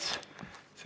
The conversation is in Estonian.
Istungi lõpp kell 13.17.